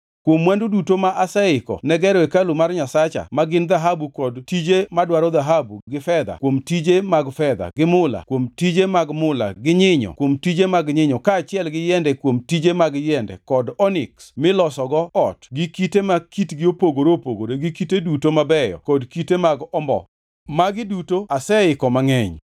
Kuom mwandu duto ma aseiko ne gero hekalu mar Nyasacha ma gin dhahabu kuom tije madwaro dhahabu, gi fedha kuom tije mag fedha, gi mula kuom tije mag mula, gi nyinyo kuom tije mag nyinyo, kaachiel gi yiende kuom tije mag yiende kod oniks milosogo ot, gi kite ma kitgi opogore opogore gi kite duto mabeyo kod kite mag ombo. Magi duto aseiko mangʼeny.